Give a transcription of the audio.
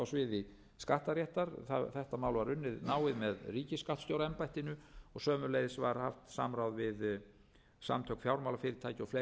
sviði skattaréttar þetta mál var unnið náið með ríkisskattstjóraembættinu og sömuleiðis var haft samráð við samtök fjármálafyrirtækja og fleiri